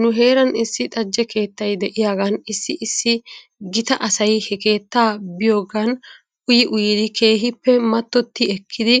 Nu heeran issi xajje keettay de'iyaagan issi issi gita asay he keettaa biyoogan uyii uyidi keehippe mattoti ekkidi